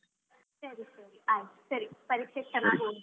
ಸರಿ ಸರಿ ಆಯ್ತು ಸರಿ. ಪರೀಕ್ಷೆಗೆ ಚೆನ್ನಾಗಿ ಓದಿ.